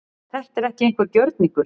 Þetta er ekki einhver gjörningur